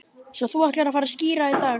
Svo þú ætlar að fara að skíra í dag